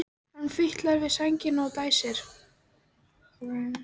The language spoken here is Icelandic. Hann fitlar við sængina og dæsir.